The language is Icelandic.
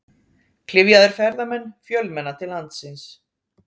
Klyfjaðir ferðamenn fjölmenna til landsins